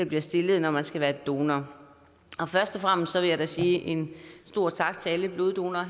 bliver stillet når man skal være donor først og fremmest vil jeg da sige en stor tak til alle bloddonorer